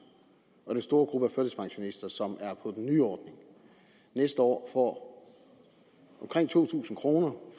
og den store gruppe af førtidspensionister som er på den nye ordning næste år får omkring to tusind kroner